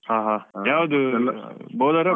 ಹಾ ಯಾವ್ದು bowler ಆ